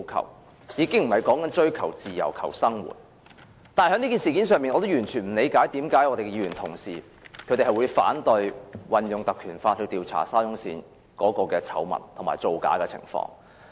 我們說的已經不是追求自由、追求生活品質，但在這事件上，我完全不理解為甚麼議員同事會反對引用《條例》調查沙中線的醜聞和造假的情況。